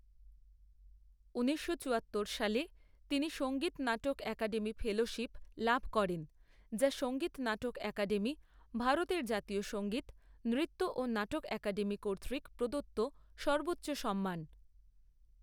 ঊনিশশো চুয়াত্তর সালে, তিনি সঙ্গীত নাটক একাডেমী ফেলোশিপ লাভ করেন, যা সঙ্গীত নাটক একাডেমী, ভারতের জাতীয় সঙ্গীত, নৃত্য ও নাটক একাডেমী কর্তৃক প্রদত্ত সর্বোচ্চ সম্মান।